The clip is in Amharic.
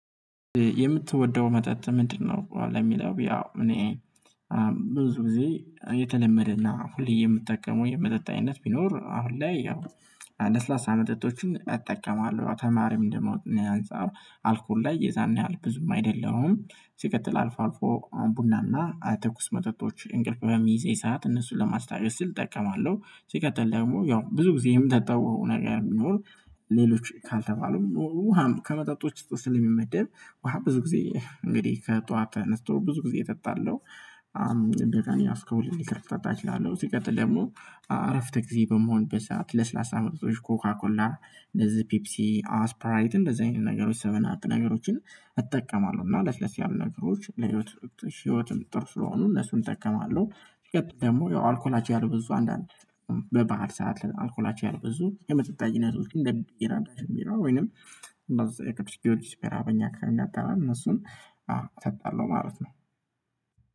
የምትወደው መጠጥ ምንድነው? ለሚለው ያው እኔ ብዙ ጊዜ የተለመደና ሁሌ የምጠቀመው የመጠጣ አይነት ቢኖር አሁን ላይ ያው ለስላሳ መጠጦችን እጠቀማለሁ ተማሪም እንደመሆኔ አንፃር አልኮል ላይ የዛን ያህል ብዙም አይደለሁም ሲቀጥል አልፎ አልፎ ቡናና ትኩስ መጠጦች እንቅልፍ በሚይዘኝ ሰዓት እነሱን ለማስታወስ ስል እጠቀማለሁ ሲቀጥል ደግሞ ያው ብዙ ጊዜ የምጠጣው ነገር የሚኖር ሌሎች ካልተባሉም ውሃም ከመጠጦች ስለሚመደብ ውሃ ብዙ ጊዜ እንግዲህ ከጠዋት ተነስቶ ብዙ ጊዜ እጠጣለሁ በቃኝ አስኮል እንዲከፍት አታች እላለሁ ሲቀጥል ደግሞ አረፍት ጊዜ በመሆን በሰአት ለስላሳ መቅጾች ኮካኮላ እንደዚህ ፒፕሲ ስፕራይት እንደዚህ አይነት ነገሮች ሰቨን አፕ ነገሮችን እጠቀማለሁ እና ለስለስ ያሉ ነገሮች ለህይወት ህይወትም ጥርስ ስለሆኑ እነሱን እጠቀማለሁ የት ደግሞ የአልኮላች ያሉ ብዙ አንዳንድ በበዓል ሰዓት አልኮላች ያህል ብዙ የመጠጣዊነት ውስጥ እንደ ቢራ ወይንም እንደዛ የቅዱስ ጊዮርጊስ በራበኛ ካምዳት አላልን እነሱን አዎ እሰጣለሁ ማለት ነው